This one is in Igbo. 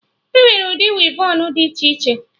Enwere ụdị wevọnụ dị iche iche